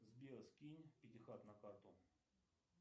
сбер скинь пятихат на карту